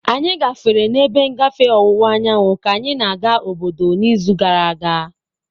Anyị gafere n'ebe ngafe ọwụwa anyanwụ ka anyị na-aga obodo n'izu gara aga.